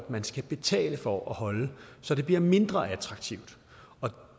man skal betale for at holde så det bliver mindre attraktivt